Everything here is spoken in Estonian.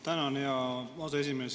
Tänan, hea aseesimees!